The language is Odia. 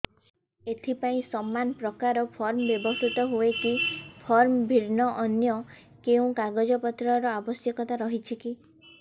ଏଥିପାଇଁ ସମାନପ୍ରକାର ଫର୍ମ ବ୍ୟବହୃତ ହୂଏକି ଫର୍ମ ଭିନ୍ନ ଅନ୍ୟ କେଉଁ କାଗଜପତ୍ରର ଆବଶ୍ୟକତା ରହିଛିକି